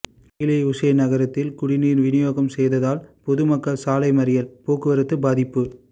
கீழ உசேன் நகரத்தில் குடிநீர் விநியோகம் செய்யாததால் பொதுமக்கள் சாலை மறியல் போக்குவரத்து பாதிப்பு